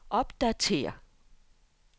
opdatér